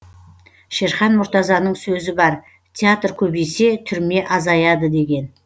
шерхан мұртазаның сөзі бар театр көбейсе түрме азаяды деген